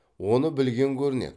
оны білген көрінеді